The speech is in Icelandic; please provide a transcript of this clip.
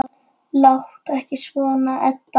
Láttu ekki svona, Edda.